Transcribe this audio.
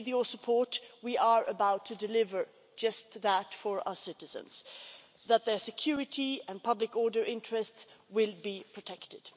And with your support we are about to deliver just that for our citizens, that their security and public order interest will be protected.